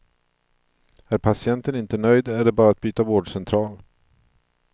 Är patienten inte nöjd är det bara att byta vårdcentral.